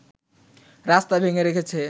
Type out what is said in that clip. রাস্তা ভেঙে রেখেছে